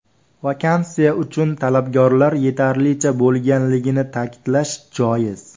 Vakansiya uchun talabgorlar yetarlicha bo‘lganligini ta’kidlash joiz”.